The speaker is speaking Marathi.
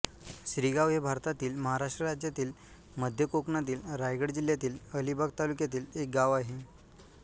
श्रीगाव हे भारतातील महाराष्ट्र राज्यातील मध्य कोकणातील रायगड जिल्ह्यातील अलिबाग तालुक्यातील एक गाव आहे